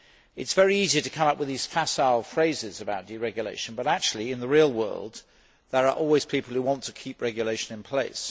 It is very easy to come up with these facile phrases about deregulation, but in the real world, there are always people who want to keep regulation in place.